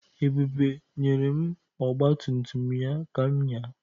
Ebube nyere m ọgba tum tum ya ka m ñyaa.